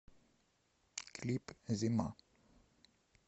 клип зима